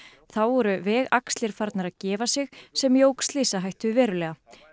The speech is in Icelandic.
þá voru vegaxlir farnar að gefa sig sem jók slysahættu verulega